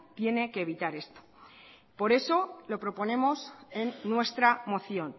tiene que evitar esto por eso lo proponemos en nuestra moción